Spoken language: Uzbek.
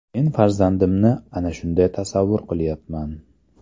Men farzandimni ana shunday tasavvur qilyapman.